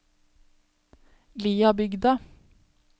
Liabygda